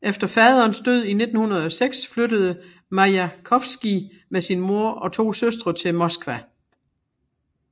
Efter faderens død i 1906 flyttede Majakovskij med sin mor og to søstre til Moskva